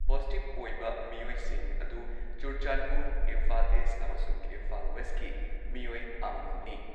Positive ꯑꯣꯏꯕ ꯃꯤꯑꯣꯏꯁꯤꯡ ꯑꯗꯨ ꯆꯨꯔꯆꯥꯟꯗꯄꯨꯔ, ꯏꯝꯐꯥꯜ ꯏꯁ ꯑꯃꯁꯨꯡ ꯏꯝꯐꯥꯜ ꯋꯦꯁꯠꯀꯤ ꯃꯤꯑꯣꯏ ꯑꯃꯃꯝꯅꯤ ꯫